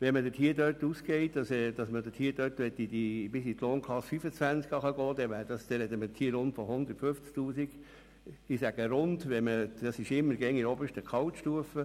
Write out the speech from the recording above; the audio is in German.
Wenn man davon ausgeht, dass die Vertrauensarbeitszeit bis zur Lohnklasse 25 zurück gelten würde, sprechen wir von rund 150 000 Franken in der obersten Gehaltsstufe.